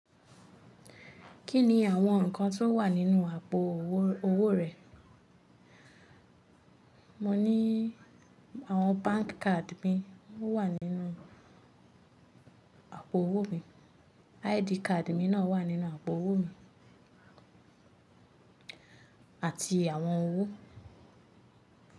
Kí ni àwọn nǹkan tó wà nínú àpò owó rẹ? Mo ní àwọn bank card mi o wà nínú àpò owó mi, ID card mi náà wà nínú àpò owó mi àti àwọn owó.